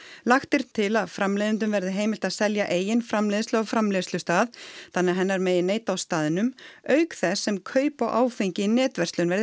lagt er til að framleiðendum verði heimilt að selja eigin framleiðslu á framleiðslustað þannig að hennar megi neyta á staðnum auk þess sem kaup á áfengi í netverslun verði